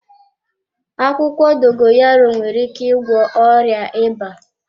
Akwụkwọ Dogoyaro nwere ike ịgwọ ọrịa ịba.